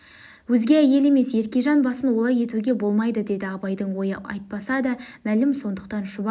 өзге әйел емес еркежан басын олай етуге болмайды деді абайдың ойы айтпаса да мәлім сондықтан шұбар